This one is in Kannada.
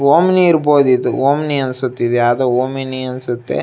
ಓಮ್ನಿ ಇರ್ಬಹುದ್ ಇದು ಓಮ್ನಿ ಅನ್ಸತ್ ಇದು ಯಾವ್ದೋ ಓಮಿನಿ ಅನ್ಸುತ್ತೆ.